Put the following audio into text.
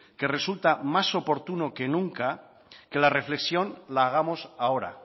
que resulta más oportuno que nunca que la reflexión la hagamos ahora